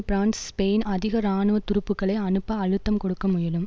France Spain அதிக இராணுவ துருப்புக்களை அனுப்ப அழுத்தம் கொடுக்க முயலும்